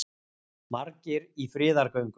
Margir í friðargöngu